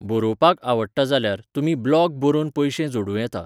बरोवपाक आवडटा जाल्यार, तुमी ब्लॅाग बरोवन पयशे जोडूं येता.